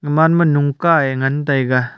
aman ma lungka ka ngan lah taiga.